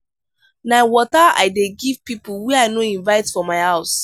na water i dey give pipo wey i no invite for my house.